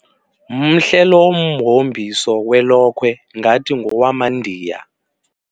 Mhle lo mhombiso welokhwe ngathi ngowamaNdiya.